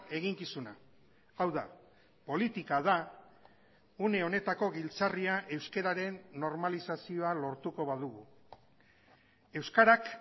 eginkizuna hau da politika da une honetako giltzarria euskararen normalizazioa lortuko badugu euskarak